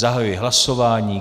Zahajuji hlasování.